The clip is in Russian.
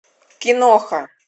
киноха